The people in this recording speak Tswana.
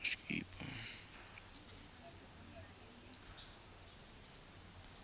ya malwetse a a sa